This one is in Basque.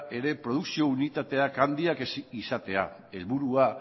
ere produkzio unitateak handiak izatea helburua